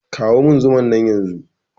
Ka kawo zuman nan yanzun!